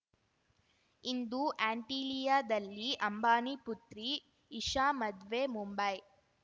ಇಂದು ಆಂಟಿಲಿಯಾದಲ್ಲಿ ಅಂಬಾನಿ ಪುತ್ರಿ ಇಶಾ ಮದ್ವೆ ಮುಂಬೈ